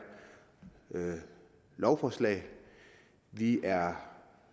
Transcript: lovforslag vi er